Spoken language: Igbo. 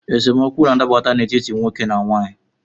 Esemokwu na-adaputa n’etiti nwoke na nwaanyị